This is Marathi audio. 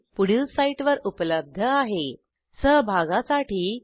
ह्या ट्युटोरियलचे भाषांतर मनाली रानडे यांनी केले असून मी रंजना भांबळे आपला निरोप घेते 160